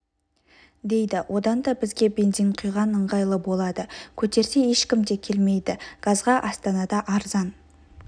дейді одан да бізге бензин құйған ыңғайлы болады көтерсе ешкім де келмейді газға астанада арзан